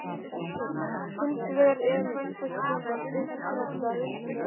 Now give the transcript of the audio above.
Hins vegar er vændiskonan uppspretta reynslu sem